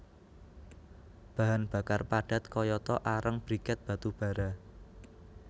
Bahan bakar padat kayata areng briket batu bara